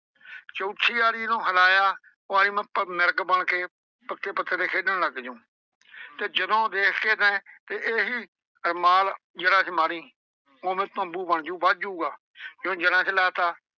ਚੌਥੀ ਆਰੀ ਇਹਨੂੰ ਹਿਲਾਇਆ ਉਹ ਆਂਹਦੀ ਮੈਂ ਮਿਰਗ ਬਣ ਕੇ ਪੱਤੇ ਪੱਤੇ ਤੇ ਖੇਡਣ ਲੱਗ ਜਾਊਂ ਤੇ ਜਦੋਂ ਦੇਖ ਕੇ ਤੈਂ ਤੇ ਇਹੀ ਰੁਮਾਲ ਜੜ੍ਹਾਂ ਚ ਮਾਰੀ ਓਵੇਂ ਤੰਬੂ ਬਣ ਜਊ ਵੱਧ ਜਾਊਗਾ ਜੇ ਉਹ ਜੜ੍ਹਾਂ ਚ ਲਾ ਤਾ,